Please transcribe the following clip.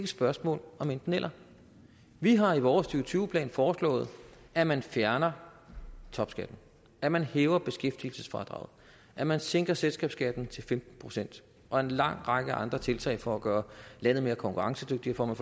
spørgsmål om enten eller vi har i vores to tusind og tyve plan foreslået at man fjerner topskatten at man hæver beskæftigelsesfradraget at man sænker selskabsskatten til femten procent og en lang række andre tiltag for at gøre landet mere konkurrencedygtigt for at